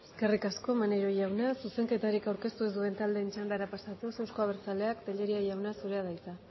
eskerrik asko maneiro jauna zuzenketarik aurkeztu ez duten taldeen txandara pasatuz euzko abertzaleak tellería jauna zurea da hitza